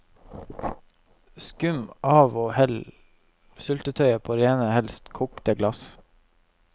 Skum av og hell syltetøyet på rene, helst kokte, glass.